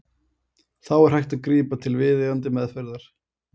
Þá er hægt að grípa til viðeigandi meðferðar.